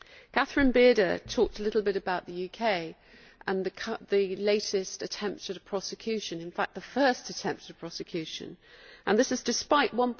Catherine Bearder talked a little bit about the UK and the latest attempts at a prosecution in fact the first attempt at prosecution, and this is despite GBP